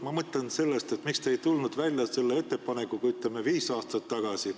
Ma mõtlen sellest, miks te ei tulnud välja selle ettepanekuga, ütleme, viis aastat tagasi.